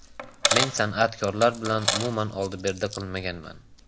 Men san’atkorlar bilan umuman oldi-berdi qilmaganman.